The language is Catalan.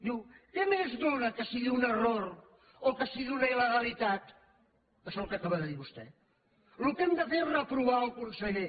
diu què més dóna que sigui un error o que sigui una il·legalitat això és el que acaba de dir vostè el que hem de fer és reprovar el conseller